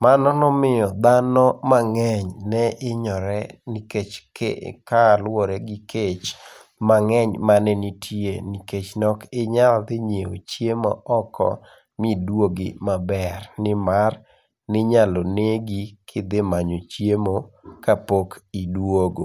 Mano nomiyo dhano mang'eny ne hinyore nikech ke kaluwore gi kech mang'eny mane nitie nikech ne ok inyal dhi ng'iewo chiemo oko miduogi maber nimar ninyalo negi kidhi manyo chiemo kapok iduogo.